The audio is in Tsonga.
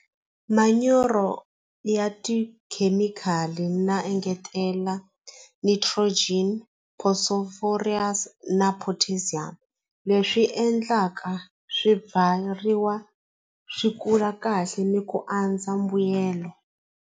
Manyoro ya tikhemikhali na engetela nitrogen na potassium leswi endlaka swi kula kahle ni ku andza mbuyelo.